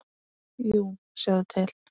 Jú, sjáðu til.